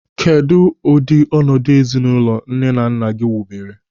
Kedụ ụdị ọnọdụ ezinụlọ nne na nna gị wubere?